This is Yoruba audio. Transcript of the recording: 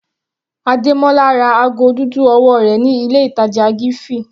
Ademola ra ago dúdú ọwọ́ rẹ̀ ní ilé ìtàjà Giffy.